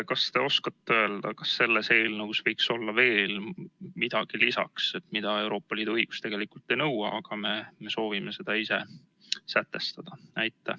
Kas te oskate öelda, kas selles eelnõus võiks olla midagi veel lisaks, mida Euroopa Liidu õigus tegelikult ei nõua, aga me soovime seda ise sätestada?